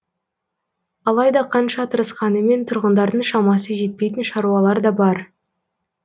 алайда қанша тырысқанымен тұрғындардың шамасы жетпейтін шаруалар да бар